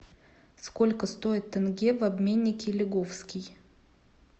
сколько стоит тенге в обменнике лиговский